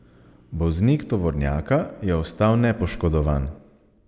Voznik tovornjaka je ostal nepoškodovan.